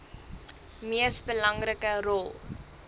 mees belangrike rol